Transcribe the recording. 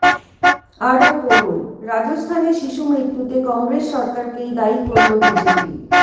আরও পড়ুনঃ রাজস্থানে শিশুমৃত্যুতে কংগ্রেস সরকারকেই দায়ী করল বিজেপি